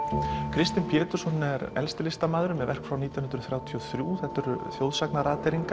Kristinn Pétursson er elsti listamaðurnn með verk frá nítján hundruð þrjátíu og þrjú þetta eru þjóðsagna